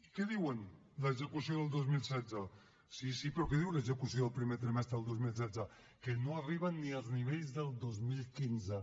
què diu l’execució del dos mil setze sí sí però què diu l’execució del primer trimestre del dos mil setze que no arriben ni als nivells del dos mil quinze